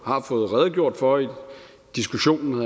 har fået redegjort for i diskussionen